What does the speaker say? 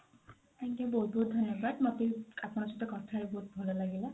ଅଜ୍ଞା ବହୁତ ବହୁତ ଧନ୍ୟବାଦ ମୋତେ ବି ଆପଣଙ୍କ ସହିତ କଥା ହେଇକି ବହୁତ ଭଲ ଲାଗିଲା।